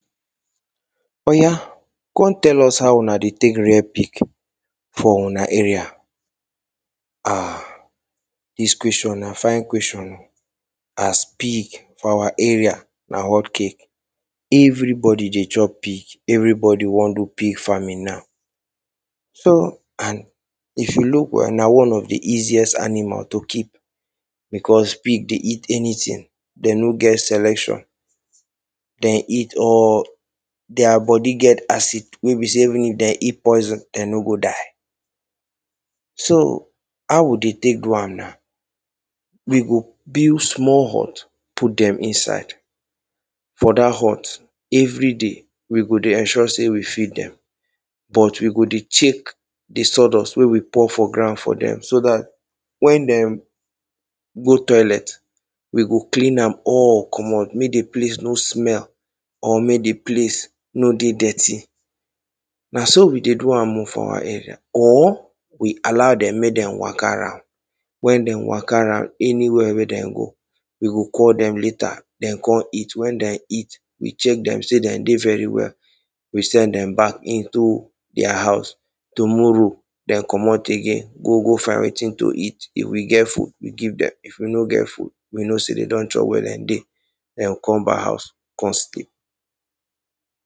Oya, come tell us how una dey take rear pig for una area um Dis question na fine question o as pig for our area na hot cake Everybody dey chop pig, everybody wan do pig farming nau so, and if you look well, na one of di easiest animal to keep becos pig dey eat anything, dem no get selection, dem eat all Their bodi get acid wey be sey even if dem eat poison, dem no go die So, how we dey take do am nau? We go build small hut put dem inside For dat hut, every day, we go dey ensure sey we feed dem but we go dey take di sawdust wey we pour for ground for dem so dat wen dem go toilet, we go clean am all comot make di place no smell or make di place no dey dirty Na so we dey do am o for our area, or we allow dem make dem waka round Wen dem waka round, anywhere wey dem go, we go call dem later, dem come eat, wen dem eat, we check dem sey dem de very well, we send dem back into their house Tomorrow dem comot again go go find wetin to eat, if we get food, we give dem If we no get food, we know sey dem don chop where dem dey. Dem go come back house, come sleep